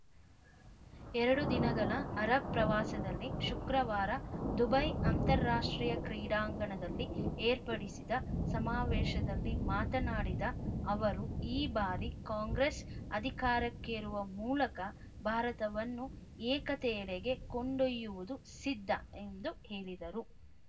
ಎರಡು ದಿನಗಳ ಅರಬ್‌ ಪ್ರವಾಸದಲ್ಲಿ ಶುಕ್ರವಾರ ದುಬೈ ಅಂತಾರಾಷ್ಟ್ರೀಯ ಕ್ರೀಡಾಂಗಣದಲ್ಲಿ ಏರ್ಪಡಿಸಿದ್ದ ಸಮಾವೇಶದಲ್ಲಿ ಮಾತನಾಡಿದ ಅವರು ಈ ಬಾರಿ ಕಾಂಗ್ರೆಸ್‌ ಅಧಿಕಾರಕ್ಕೇರುವ ಮೂಲಕ ಭಾರತವನ್ನು ಏಕತೆಯೆಡೆಗೆ ಕೊಂಡೊಯ್ಯುವುದು ಸಿದ್ಧ ಎಂದು ಹೇಳಿದರು